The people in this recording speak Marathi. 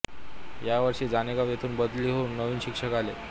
या वर्षी जानेगाव येथून बदली होवून नवीन शिक्षक आले